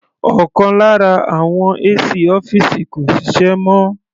Ọ̀kan lára àwọn AC ọ́fìsì kò ṣiṣẹ́ mọ́.